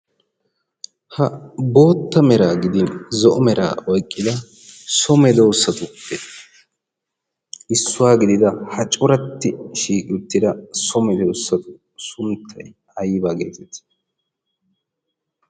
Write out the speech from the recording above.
Ha bootta meraa gidin zo'o meraa oyqqida so medoosatuppe issuwa gidida ha coratti shiiqi uttida so medoosatu sunttay aybaa geetettii?